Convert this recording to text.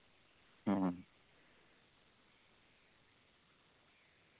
മ്മ്